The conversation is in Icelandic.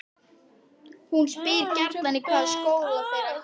Hún spyr gjarnan í hvaða skóla þeir ætli.